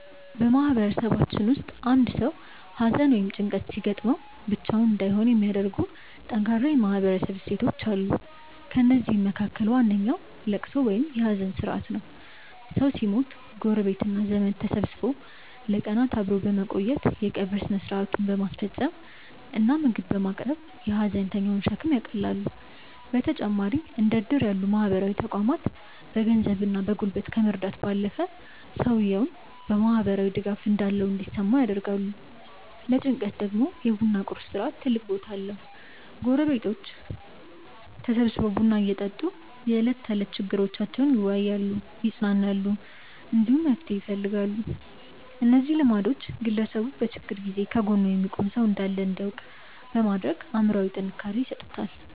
በማህበረሰባችን ውስጥ አንድ ሰው ሐዘን ወይም ጭንቀት ሲገጥመው ብቻውን እንዳይሆን የሚያደርጉ ጠንካራ የማህበረሰብ እሴቶች አሉ። ከእነዚህም መካከል ዋነኛው ልቅሶ ወይም የሐዘን ሥርዓት ነው። ሰው ሲሞት ጎረቤትና ዘመድ ተሰብስቦ ለቀናት አብሮ በመቆየት፣ የቀብር ሥነ ሥርዓቱን በማስፈጸም እና ምግብ በማቅረብ የሐዘንተኛውን ሸክም ያቃልላሉ። በተጨማሪም እንደ ዕድር ያሉ ማህበራዊ ተቋማት በገንዘብና በጉልበት ከመርዳት ባለፈ፣ ሰውየው ማህበራዊ ድጋፍ እንዳለው እንዲሰማው ያደርጋሉ። ለጭንቀት ደግሞ የ ቡና ቁርስ ሥርዓት ትልቅ ቦታ አለው፤ ጎረቤቶች ተሰብስበው ቡና እየጠጡ የዕለት ተዕለት ችግሮቻቸውን ይወያያሉ፣ ይጽናናሉ፣ እንዲሁም መፍትሄ ይፈልጋሉ። እነዚህ ልማዶች ግለሰቡ በችግር ጊዜ ከጎኑ የሚቆም ሰው እንዳለ እንዲያውቅ በማድረግ አእምሮአዊ ጥንካሬ ይሰጡታል።